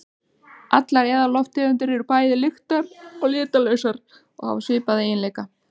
Allar eðallofttegundir eru bæði litar- og lyktarlausar og hafa svipaða eiginleika.